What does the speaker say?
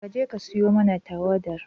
Ka je ka siyo mana tauwadar